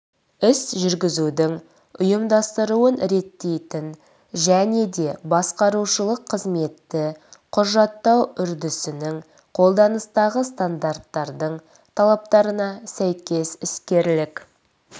іс жүргізудің ұйымдастыруын реттейтін және де басқарушылық қызметті құжаттау үрдісінің қолданыстағы стандарттардың талаптарына сәйкес іскерлік